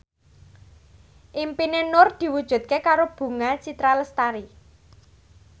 impine Nur diwujudke karo Bunga Citra Lestari